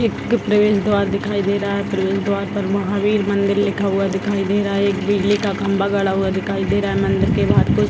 एक प्रवेश द्वार दिखाई दे रहा है प्रवेश द्वार पर महावीर मंदिर लिखा हुआ दिखाई दे रहा है एक बिजली का खम्भा गड़ा हुआ दिखाई दे रहा है मंदिर के बहार कुछ --